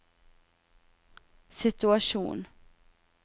situasjon